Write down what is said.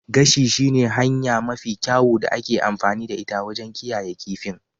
Gashi shi ne hanya mafi kyawu da ake amfani da ita wajen kiyayewa kifin.